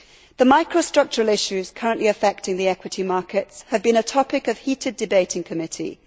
The micro structural issues currently affecting the equity markets have been a topic of heated debate in committee.